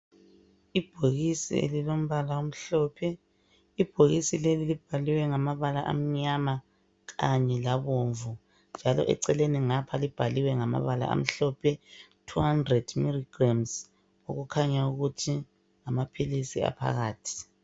Ibhokisi elilombala omhlophe ,ibhokisi leli libhaliwe ngamabala amnyama kanye labomvu njalo eceleni ngapha libhaliwe ngama bala amhlophe 200mg okukhanya ukuthi ngamaphilisi aphakathi